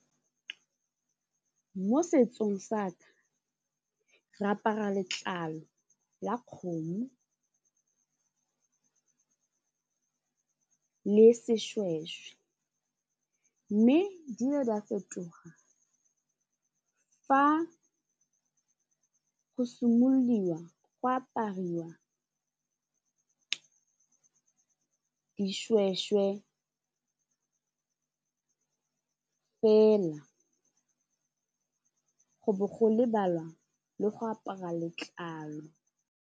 Mo setsong sa ka re apara letlalo la kgomo le seshweshwe mme di le di a fetoga fa go simololwa go apariwa dishweshwe fela go bo go lebalwa le go apara letlalo.